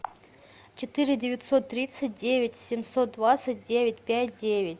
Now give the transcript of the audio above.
четыре девятьсот тридцать девять семьсот двадцать девять пять девять